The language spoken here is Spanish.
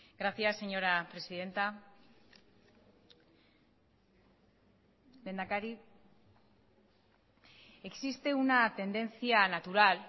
gracias señora presidenta lehendakari existe una tendencia natural